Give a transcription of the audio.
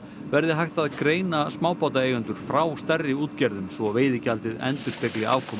verði hægt greina smábátaeigendur frá stærri útgerðum svo veiðigjaldið endurspegli afkomu